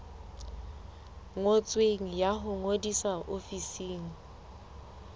ngotsweng ya ho ngodisa ofising